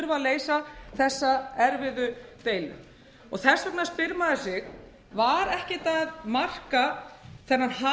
að leysa þessa erfiðu deilu og þess vegna spyr maður sig var ekkert að marka þennan hasar þennan